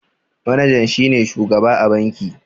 Manajan shi ne shugaba a banki.